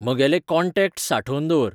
म्हगेले contacts सांठोवन दवर